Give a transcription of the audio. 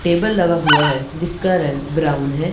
Table लगा हुआ है जिसका रंग ब्राउन है।